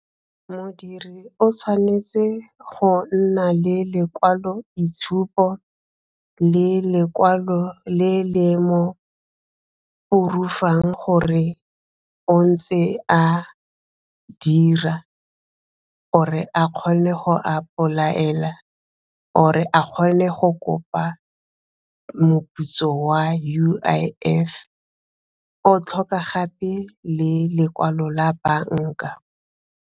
Modiri o tshwanetse go nna le lekwalo-itshupo le lekwalo le le mo gore o ntse a dira or a kgone go a ipolaela or a kgone go kopa moputso wa U_I_F o tlhoka gape le lekwalo la banka.